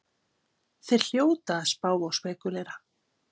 Þeir hljóta að spá og spekúlera!